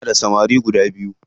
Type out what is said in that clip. Ina da samari biyu.